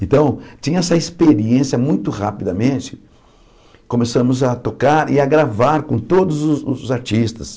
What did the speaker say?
Então, tinha essa experiência, muito rapidamente, começamos a tocar e a gravar com todos os os artistas.